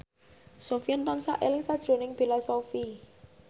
Sofyan tansah eling sakjroning Bella Shofie